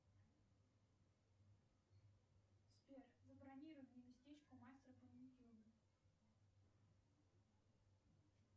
сбер забронируй мне местечко у мастера по маникюру